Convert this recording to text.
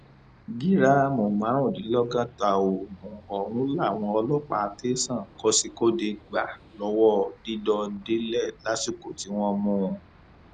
gíráàmù márùndínlọgọta oògùn ọhún làwọn ọlọpàá tẹsán kozhikode gbà lọwọ dídọdélẹ lásìkò tí wọn mú un